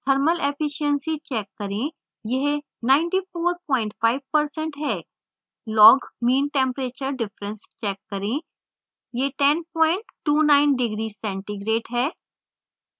thermal efficiency check करें यह 945% है log mean temperature difference check करें यह 1029 degree centigrade है